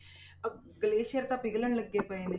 ਅਹ glacier ਤਾਂ ਪਿਘਲਣ ਲੱਗੇ ਪਏ ਨੇ